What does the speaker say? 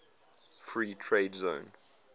free trade zone